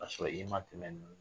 A y'a sɔrɔ i ma tɛmɛ ninnu